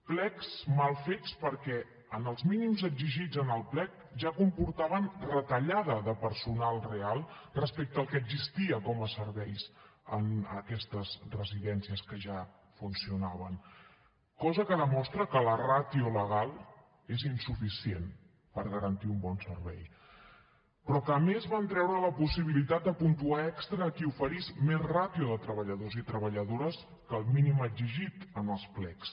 plecs mal fets perquè els mínims exigits en el plec ja comportaven retallada de personal real respecte al que existia com a serveis en aquestes residències que ja funcionaven cosa que demostra que la ràtio legal és insuficient per garantir un bon servei però en què a més van treure la possibilitat de puntuar extra a qui oferís més ràtio de treballadors i treballadores que el mínim exigit en els plecs